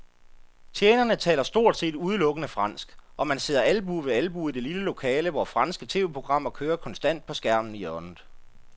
Tjenerne taler stort set udelukkende fransk, og man sidder albue ved albue i det lille lokale, hvor franske tv-programmer kører konstant på skærmen i hjørnet.